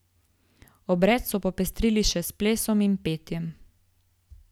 Obred so popestrili še s plesom in petjem.